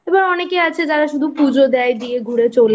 এবার অনেকে আছে যারা শুধু পুজো দেয় দিয়ে ঘুরে